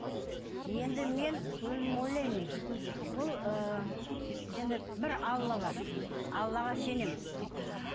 енді мен өзім ойлаймын бұл ы енді бір алла бар аллаға сенемін